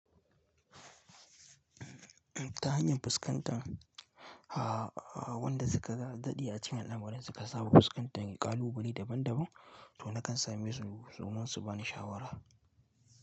Ta hanyar fuskantar, ah wanda suka daɗe a cikin al'amurin suka saba fuskantar, ƙalubale daban daban, to nakan same su domin su bani shawara.